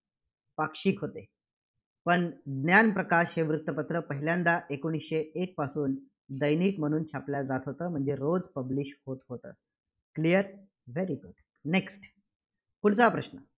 पाक्षिक होते. पण ज्ञानप्रकाश हे वृत्तपत्र पहिल्यांदा एकोणसीशे एक पासून दैनिक म्हणून छापल्या जात होतं. म्हणजे रोज publish होत होतं. clear? very good next पुढचा प्रश्न